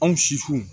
Anw su